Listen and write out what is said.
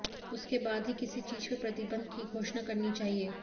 उसके बाद ही किसी चीज पर प्रतिबंध की घोषणा करनी चाहिए